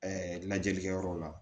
lajɛlikɛ yɔrɔ la